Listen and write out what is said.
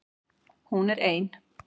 Hún er ein.